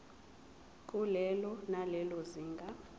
kulelo nalelo zinga